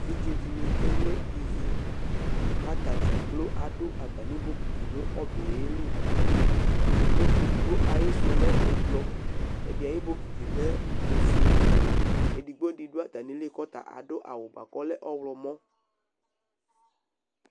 Eviɖze ɖɩnɩ ke no ivi ,ƙʋ ata nɩ ɖza ƙplo aɖʋ atamɩ boƙiti nʋ ɔbɛ ƴɛ li eɖigbo ,aƴɩsʋ lɛ ɛblʋ, ɛɖɩ aƴʋ boƙiti lɛ ofueEɖigbo ɖɩ ɖʋ atamɩli ƙʋ ɔta aɖʋ awʋ bʋa ƙʋ ɔlɛ ɔɣlɔmɔ